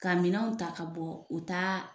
Kaminɛw ta ka bɔ u taa